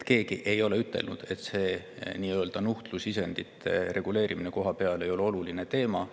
Keegi ei ole ütelnud, et nuhtlusisendite nii-öelda reguleerimine kohapeal ei ole oluline teema.